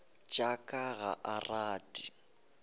tša ka ga a rate